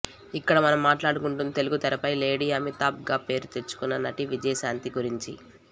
ఇక్కడ మనం మాట్లాడుకుంటుంది తెలుగు తెరపై లేడీ అమితాబ్ గా పేరు తేచుకున్న నటి విజయశాంతి గరించి